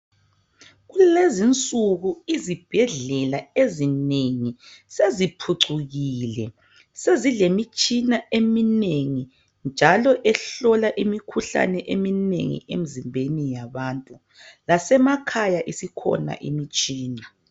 Kulezinsuku izibhedlela ezinengi seziphucukile. Sezilemitshina eminengi njalo ehlola imikhuhlane eminengi emzimbeni yabantu. Lasemakhaya isikhona imtshina.